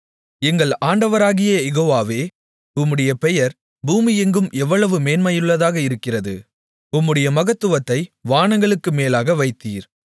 எங்கள் ஆண்டவராகிய யெகோவாவே உம்முடைய பெயர் பூமியெங்கும் எவ்வளவு மேன்மையுள்ளதாக இருக்கிறது உம்முடைய மகத்துவத்தை வானங்களுக்கு மேலாக வைத்தீர்